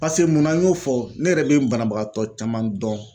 Pase mun na n y'o fɔ ne yɛrɛ be banabagatɔ caman dɔn.